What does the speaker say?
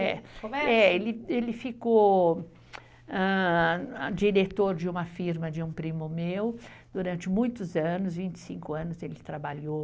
Ele ficou, ah, diretor de uma firma de um primo meu durante muitos anos, vinte e cinco anos ele trabalhou.